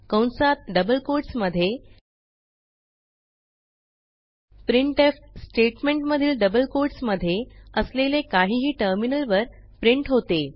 कंसात double quotes मधे printf स्टेटमेंटमधील डबल कोट्स मधे असलेले काहीही टर्मिनलवर प्रिंट होते